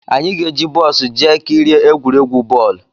Anyị ga-eji bọs jee kirie egwuregwu bọọlụ